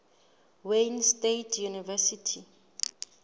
wayne state university